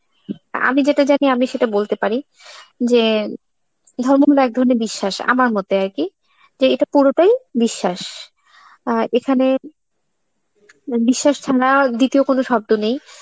আমি যেটা জানি আমি সেটা বলতে পারি, যে ধর্ম হলো এক ধরনের বিশ্বাস, আমার মতে আর কি যে এটা পুরোটাই বিশ্বাস. আ এখানে ম~ বিশ্বাস দ্বিতীয় কোন শব্দ নেই,